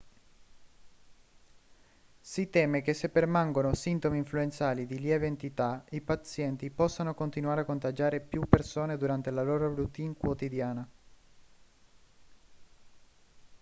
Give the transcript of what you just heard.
si teme che se permangono sintomi influenzali di lieve entità i pazienti possano continuare a contagiare più persone durante la loro routine quotidiana